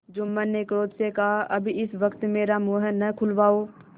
जुम्मन ने क्रोध से कहाअब इस वक्त मेरा मुँह न खुलवाओ